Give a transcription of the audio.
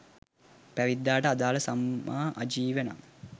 පැවිද්දාට අදාළ සම්මා ආජීවය නම්